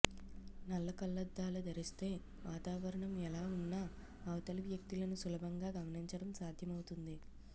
నల్ల కళ్లద్దాలు ధరిస్తే వాతావరణం ఎలా ఉన్నా అవతలి వ్యక్తులను సులభంగా గమనించడం సాధ్యమవుతుంది